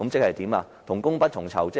即同工不同酬。